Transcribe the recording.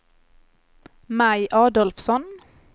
Maj Adolfsson